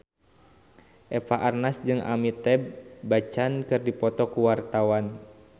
Eva Arnaz jeung Amitabh Bachchan keur dipoto ku wartawan